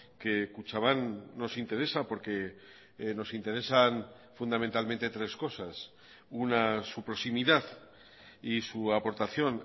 que kutxabank nos interesa porque nos interesan fundamentalmente tres cosas una su proximidad y su aportación